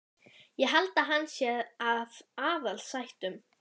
Ég held að hann sé af aðalsættum.